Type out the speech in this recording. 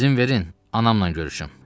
İzin verin, anamla görüşüm.